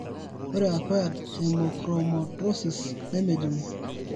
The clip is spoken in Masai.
ore Acquired hemochromatosis nemejung'i.